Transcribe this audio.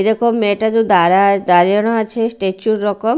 এরকম মেয়েটা দু দাঁড়া দাঁড়ানো আছে স্টেচুর -এর রকম।